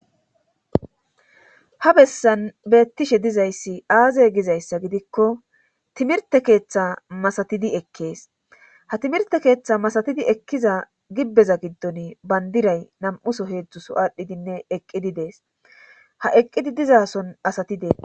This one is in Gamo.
Ha bessan beettishe dizayssi aaze gizayssa gidikko timirte keeththa masatidi ekkees ha timirte keeththa masatidii ekkiza gibbeza giddon bandiray nam'uso heedzdzuso aadhdhidinne eqqidi dees ha eqqidi dizason asati deetes.